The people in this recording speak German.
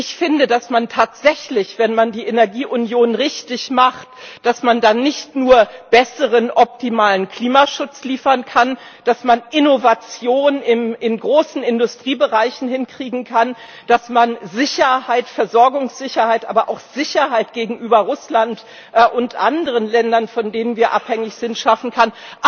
Ich finde, dass man tatsächlich, wenn man die Energieunion richtig macht, nicht nur optimalen Klimaschutz liefern kann, dass man Innovation in großen Industriebereichen hinkriegen kann, dass man Sicherheit, Versorgungssicherheit, aber auch Sicherheit gegenüber Russland und anderen Ländern, von denen wir abhängig sind, schaffen kann.